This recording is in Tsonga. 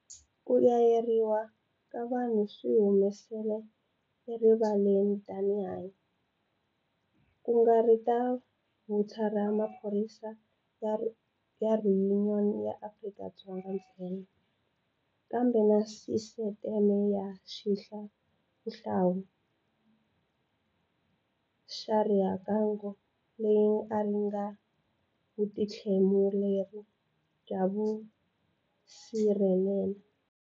Ku yayarheriwa ka vanhu swi humesele erivaleni tihanyi, ku nga ri ta vuthu ra maphorisa ra Yuniyoni ya Afrika-Dzonga ntsena, kambe na sisiteme ya xihlawuhlawu xa rixakanghohe leyi a yi ri na vutihlamuleri bya vusirheleli.